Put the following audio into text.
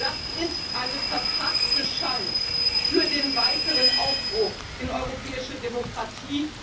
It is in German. Das ist eine verpasste Chance für den weiteren Aufbruch in europäische Demokratie.